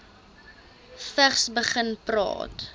vigs begin praat